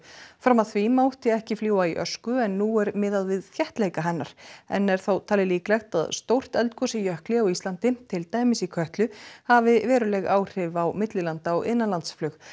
fram að því mátti ekki fljúga í ösku en nú er miðað við þéttleika hennar enn er þó talið líklegt að stórt eldgos í jökli á Íslandi til dæmis í Kötlu hafi veruleg áhrif á millilanda og innanlandsflug